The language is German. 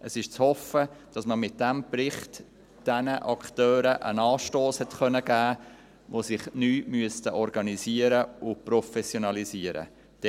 Es ist zu hoffen, dass man mit diesem Bericht den Akteuren einen Anstoss geben konnte, die sich neu organisieren und professionalisieren müssten.